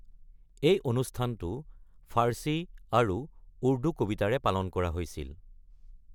এই অনুষ্ঠানটো ফাৰ্চী আৰু উৰ্দু কবিতাৰে পালন কৰা হৈছিল।